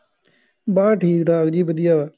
ਬੱਸ ਠੀਕ ਠਾਕ ਜੀ ਵਧੀਆ ਵਾ